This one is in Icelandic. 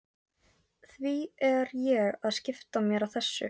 Því er ég að skipta mér af þessu?